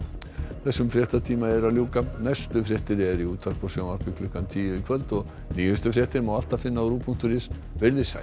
þessum fréttatíma er að ljúka næstu fréttir eru í útvarpi og sjónvarpi klukkan tíu í kvöld og nýjustu fréttir má alltaf finna á ruv punktur is veriði sæl